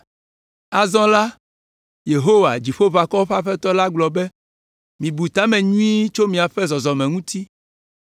Azɔ la Yehowa, Dziƒoʋakɔwo ƒe Aƒetɔ la gblɔ be, “Mibu ta me nyuie tso miaƒe zɔzɔme ŋuti.